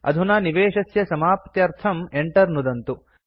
अधुना निवेशस्य समाप्त्यर्थं enter नुदन्तु